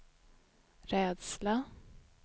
rädsla